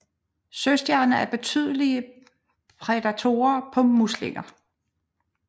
Søstjerner er betydelige prædatorer på muslinger